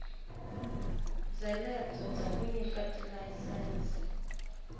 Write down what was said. byelebyo bya ku nyika tilayisense